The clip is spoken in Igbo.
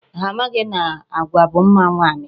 Ha amaghị na agwa bụ mma nwaanyị.